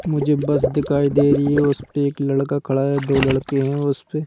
मुझे बस दिखाई दे रही है उस पे एक लड़का खड़ा है दो लड़के हैं और उस पे।